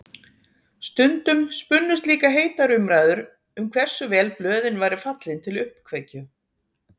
Stundum spunnust líka heitar umræður um hversu vel blöðin væru fallin til uppkveikju.